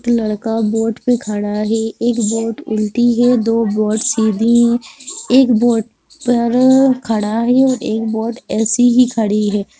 एक लड़का बोट पे खड़ा है एक बोट उल्टी है दो बोट सीधी है एक बोट पर खड़ा है और एक बोट ऐसे ही खड़ी है।